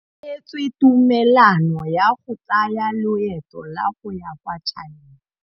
O neetswe tumalanô ya go tsaya loetô la go ya kwa China.